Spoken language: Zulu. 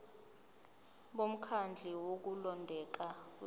bomkhandlu wokulondeka kwethu